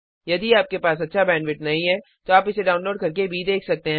यदि आपके पास अच्छी बैंडविड्थ नहीं है तो आप इसे डाउनलोड करके देख सकते हैं